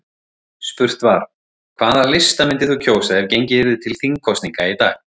Spurt var: Hvaða lista myndir þú kjósa ef gengið yrði til þingkosninga í dag?